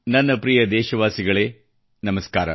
ನನ್ನ ಪ್ರಿಯ ದೇಶವಾಸಿಗಳೇ ನಮಸ್ಕಾರ